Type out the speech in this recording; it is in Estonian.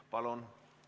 Palun!